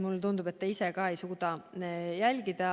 Mulle tundub, et te ise ka ei suuda seda jälgida.